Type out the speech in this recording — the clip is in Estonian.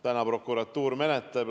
Täna prokuratuur menetleb.